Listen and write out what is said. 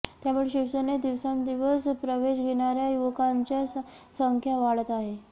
त्यामुळे शिवसेनेत दिवसेंदिवस प्रवेश घेणाऱ्या युवकांची संख्या वाढत आहे